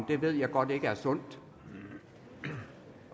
det ved jeg godt ikke er sundt